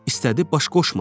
İstədi baş qoşmasın.